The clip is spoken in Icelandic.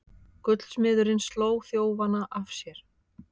Gullsmiðurinn sló þjófana af sér